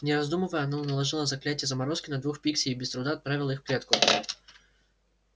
не раздумывая она наложила заклинание заморозки на двух пикси и без труда отправила их в клетку